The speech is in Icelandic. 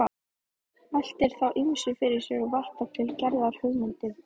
Veltir þá ýmsu fyrir sér og varpar til Gerðar hugmyndum.